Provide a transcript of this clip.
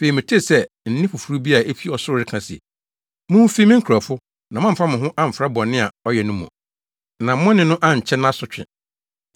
Afei metee sɛ nne foforo bi a efi ɔsoro reka se, “Mumfi, me nkurɔfo, na moamfa mo ho amfra bɔne a ɔyɛ no mu, na mo ne no ankyɛ nʼasotwe!